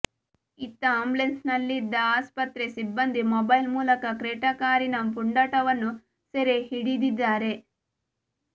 ಇತ್ತ ಆ್ಯಂಬುಲೆನ್ಸ್ನಲ್ಲಿದ್ದ ಆಸ್ಪತ್ರೆ ಸಿಬ್ಬಂಧಿ ಮೊಬೈಲ್ ಮೂಲಕ ಕ್ರೆಟಾ ಕಾರಿನ ಪುಂಡಾಟವನ್ನು ಸೆರೆ ಹಿಡಿದಿದ್ದಾರೆ